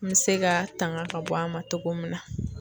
N mi se ka tanga ka bɔ a ma togo min na